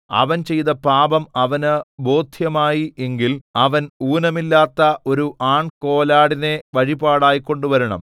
അവൻ ചെയ്ത പാപം അവന് ബോദ്ധ്യമായി എങ്കിൽ അവൻ ഊനമില്ലാത്ത ഒരു ആൺകോലാടിനെ വഴിപാടായി കൊണ്ടുവരണം